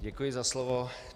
Děkuji za slovo.